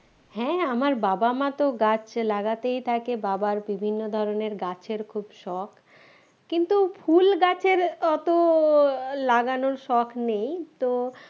হ্যাঁ আমার বাবা-মা তো গাছ লাগাতেই থাকে বাবার বিভিন্ন ধরনের গাছের খুব শখ কিন্তু ফুল গাছের অত লাগানোর শখ নেই তো